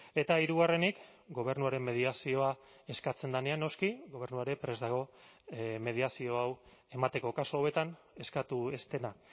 eta hirugarrenik gobernuaren mediazioa eskatzen denean noski gobernua ere prest dago mediazio hau emateko kasu hauetan eskatu ez dena